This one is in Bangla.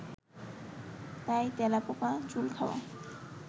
তাই তেলাপোকা চুল খাওয়া